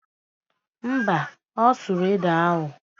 Mba, ọ sụrụ ede ahụ